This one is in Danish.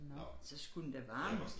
Nå så skulle den da varmes